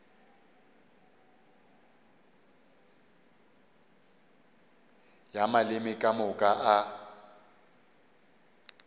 ya maleme ka moka a